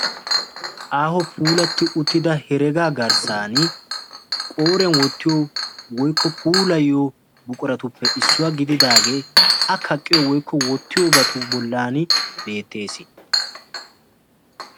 aaho puulati uttida herega garssan qooriyaan wottiyo woykko puulayiyo buquratuppe issuwaa gididaage a kaqqiyo woykko wottiyoobatu bollan beettees.